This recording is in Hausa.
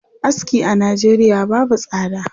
Aski a Najeriya babu tsada.